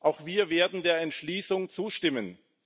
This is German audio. Auch wir werden der Entschließung zustimmen.